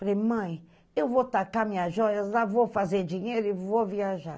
Falei, mãe, eu vou tacar minhas joias lá, vou fazer dinheiro e vou viajar.